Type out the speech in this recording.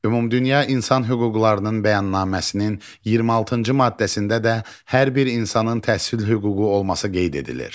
Ümumdünya İnsan Hüquqlarının Bəyannaməsinin 26-cı maddəsində də hər bir insanın təhsil hüququ olması qeyd edilir.